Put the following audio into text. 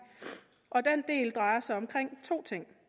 og den del drejer sig om to ting